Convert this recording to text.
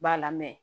B'a la mɛ